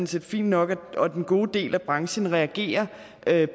set fin nok og den gode del af branchen reagerer